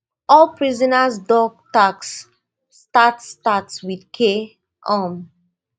all prisoners dog tags start start wit k um